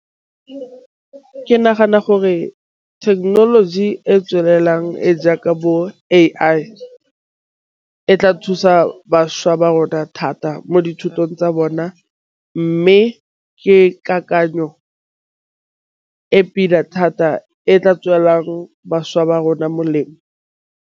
Ke nagana gore thekenoloji e tswelelang e jaaka bo A_I e tla thusa bašwa ba rona thata mo dithutong tsa bona, mme ke kakanyo e pila thata e tla tswelang bašwa ba rona molemo.